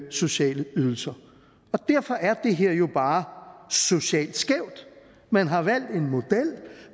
sociale ydelser derfor er det her jo bare socialt skævt man har valgt en model